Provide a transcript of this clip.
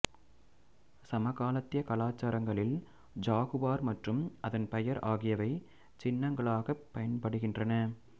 சமகாலத்திய கலாசாரங்களில் ஜாகுவார் மற்றும் அதன் பெயர் ஆகியவை சின்னங்களாகப் பயன்படுகின்றன